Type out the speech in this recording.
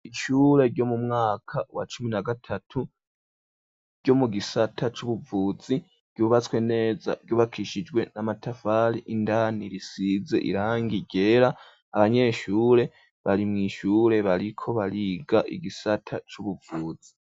ishure ryo mu mwaka wa cumi na gatatu ryo mu gisata c'ubuvuzi ryubatswe neza ryubakishijwe n'amatafari indani risize irangi gera abanyeshure bari mu ishure bariko bariga igisata c'ubuvuzi.